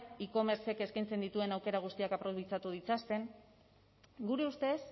e commercek eskaintzen dituen aukera guztiak aprobetxatu ditzaten gure ustez